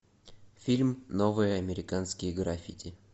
фильм новые американские граффити